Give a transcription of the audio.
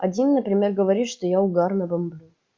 один например говорит что я угарно бомблю